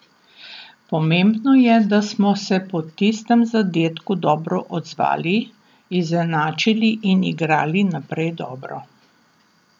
Pomembno je, da smo se po tistem zadetku dobro odzvali, izenačili in igrali naprej dobro.